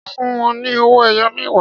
Ṣé ó fún wọn ní owó ẹyọ mẹwa?